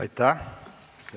Aitäh!